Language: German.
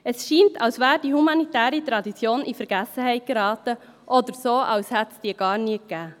Es scheint, als sei die humanitäre Tradition in Vergessenheit geraten, oder als hätte es diese gar nie gegeben.